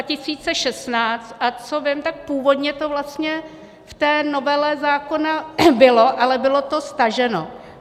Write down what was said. A co vím, tak původně to vlastně v té novele zákona bylo, ale bylo to staženo.